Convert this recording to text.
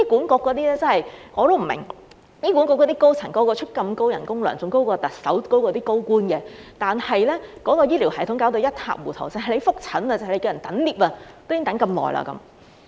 我真的不明白，醫管局那些高層人人薪金如此高，較特首和高官更高，但醫療系統卻弄至一塌糊塗，就連覆診等候升降機，也要等那麼久。